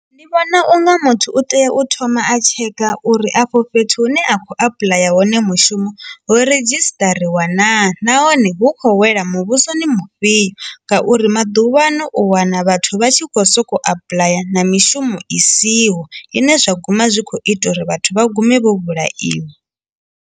Ndi vhona unga muthu u tea u thoma a tsheke uri afho fhethu hune a khou apuḽaya hone mushumo ho redzhistariwa naa nahone hu khou wela muvhusoni mufhiyo ngauri maḓuvha ano u wana vhathu vha tshi kho soko applyer na mishumo i siho ine zwa guma zwi kho ita uri vhathu vha gume vho vhulaiwa.